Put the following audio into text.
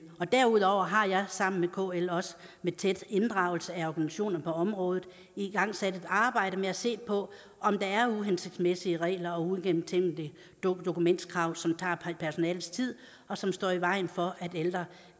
derudover har jeg sammen med kl og med tæt inddragelse af organisationer på området igangsat et arbejde med at se på om der er uhensigtsmæssige regler og uigennemtænkte dokumentationskrav som tager personalets tid og som står i vejen for at ældre